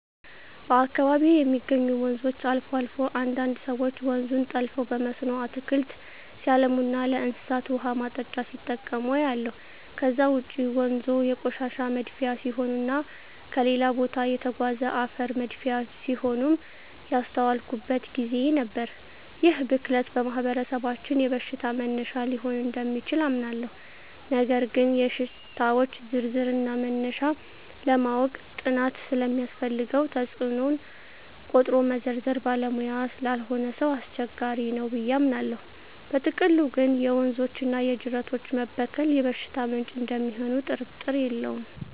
በአካባቢየ የሚገኙ ወንዞች አልፎ አልፎ አንዳንድ ሰወች ወንዙን ጠልፈው በመስኖ አትክልት ሲያለሙና ለእንስሳት ውሃ ማጠጫ ሲጠቀሙ አያለሁ። ከዛ ውጭ ወንዞ የቆሻሻ መድፊያ ሲሆኑና ከሌላ ቦታ የተጋዘ አፈር መድፊያ ሲሆኑም ያስተዋልኩበት ግዜ ነበር። ይህ ብክለት በማህበረሰባችን የበሽታ መነሻ ሊሆን እደሚችል አምናለሁ ነገር ግን የሽታወች ዝርዝርና መነሻ ለማወቅ ጥናት ስለሚያስፈልገው ተጽኖውን ቆጥሮ መዘርዘር ባለሙያ ላልሆነ ሰው አስቸጋሪ ነው ብየ አምናለው። በጥቅሉ ግን የወንዞችና የጅረቶች መበከል የበሽታ ምንጭ እደሚሆኑ ጥርጥር የለውም።